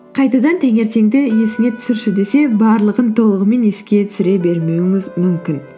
қайтадан таңертеңді есіңе түсірші десе барлығын толығымен еске түсіре бермеуіңіз мүмкін